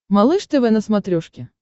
малыш тв на смотрешке